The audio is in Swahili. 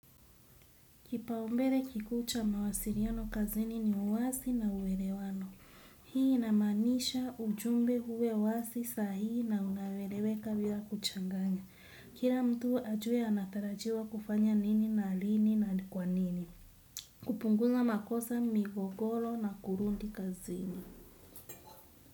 Kipaumbele kikuu cha mawasiliano kazini ni uwasi na uelewano. Hii inamanisha ujumbe huwe wasi sahi na unaeleweka bila kuchanganya. Kira mtu ajue anatarajiwa kufanya nini na lini na kwa nini. Kupunguza makosa migogolo na kurudi kazini.